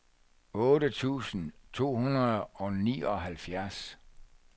otte tusind to hundrede og nioghalvfjerds